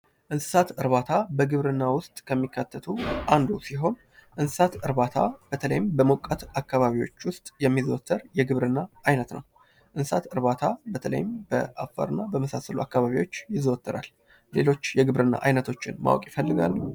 እንስሳት እርባታ በግብርና ውስጥ ከሚካተቱ አንዱ ሲሆን እንስሳት እርባታ በተለይም በሞቃት አካባቢዎች ውስጥ የሚዘወትር የግብር አይነት ነው። እንስሳት እርባታ በተለይም በአፋርና በመሳሰሉ አካባቢዎች ይዘወተራል። ሌሎች የግብርና ዓይነቶችን ማወቅ ይፈልጋለሁ?